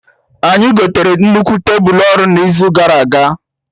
Anyị gotere nnukwu tebulu ọrụ na izu gara aga